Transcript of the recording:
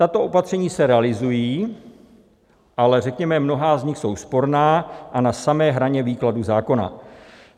Tato opatření se realizují, ale řekněme, mnohá z nich jsou sporná a na samé hraně výkladu zákona.